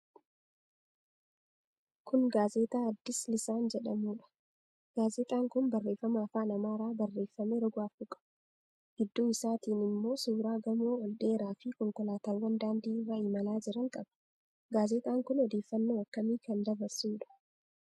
Kun gaazexaa 'Addis Lissaan' jedhuudha. Gaazexaan kun barreeffama afaan Amaaraan barreeffame roga afur qaba. Gidduu isaatiin immoo suuraa gamoo ol dheeraafi konkolaataawwan daandii irra imalaa jiran qaba. Gaazexaan kun odeeffannoo akkamii kan dabarsuudha?